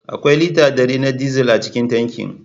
Akwai lita dari na dizal a cikin tankin.